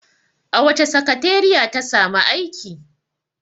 A wace sakateriya ta samu aiki?